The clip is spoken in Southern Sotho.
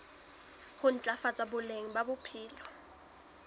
ho ntlafatsa boleng ba bophelo